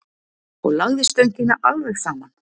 Og lagði stöngina alveg saman.